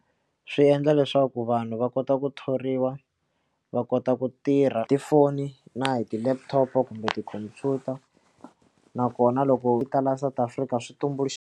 swi endla leswaku vanhu va kota ku thoriwa va kota ku tirha tifoni na hi ti-laptop-o kumbe tikhompyuta nakona loko la South Africa swi tumbuluxa.